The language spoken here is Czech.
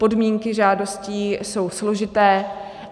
Podmínky žádostí jsou složité.